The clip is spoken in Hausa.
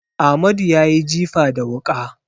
Amadu ya yi jifa da wuƙa.